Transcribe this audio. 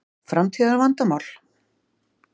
Framtíðar vandamál?